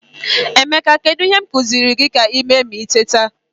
Emeka, kedu ihe m kuziri gi ka i mee ma i teta?